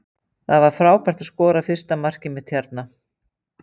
Það var frábært að skora fyrsta markið mitt hérna.